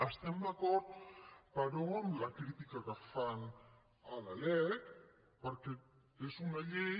estem d’acord però amb la crítica que fan a la lec perquè és una llei